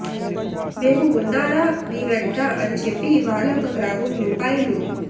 మేము ఉన్నార మీవెంట అని చెప్పి ఇవాళ ఒక గ్రామం రూ